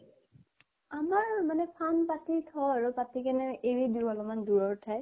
আমাৰ মানে ফান্দ পাতি থও আৰু । পাতি কেনে এৰি দিও অকনমান দুৰ ৰ ঠাইত ।